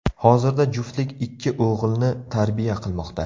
Hozirda juftlik ikki o‘g‘ilni tarbiya qilmoqda.